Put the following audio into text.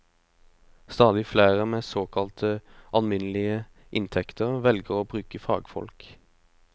Stadig flere med såkalte alminnelige inntekter velger å bruke fagfolk.